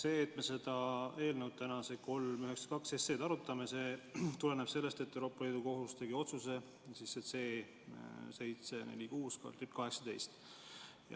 See, et me eelnõu 392 täna arutame, tuleneb sellest, et Euroopa Liidu Kohus tegi otsuse C-746/18.